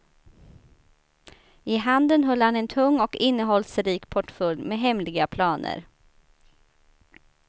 I handen höll han en tung och innehållsrik portfölj med hemliga planer.